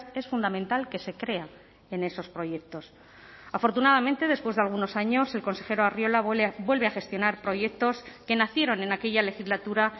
es fundamental que se crea en esos proyectos afortunadamente después de algunos años el consejero arriola vuelve a gestionar proyectos que nacieron en aquella legislatura